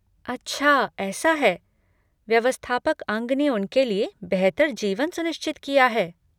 अच्छा ऐसा है! व्यवस्थापक अंग ने उनके लिए बेहतर जीवन सुनिश्चित किया है!